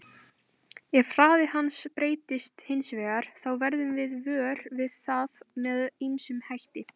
Ef hraði hans breytist hins vegar þá verðum við vör við það með ýmsum hætti.